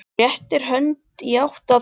Hún réttir hönd í átt að